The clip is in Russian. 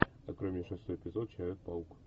открой мне шестой эпизод человек паук